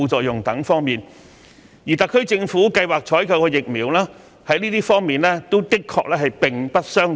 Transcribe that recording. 就以上各方面而言，特區政府計劃採購的數款疫苗的確並不相同。